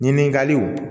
Ɲininkaliw